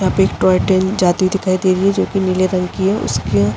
यहाँ पे एक टॉय टेन जाती हुई दिखाई दे रही है जोकि नीले रंग की हैं।